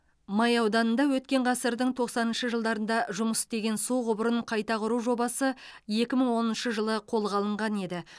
май ауданында өткен ғасырдың тоқсаныншы жылдарында жұмыс істеген су құбырын қайта құру жобасы екі мың оныншы жылы қолға алынған еді